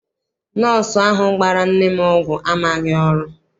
Nọsọụ ahụ gbara nne m ọgwụ amaghị ọrụ.